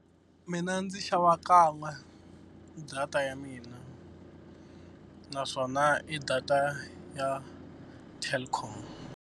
Mina ndzi xava kan'we data ya mina, naswona i data ya Telkom.